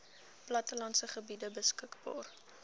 plattelandse gebiede beskikbaar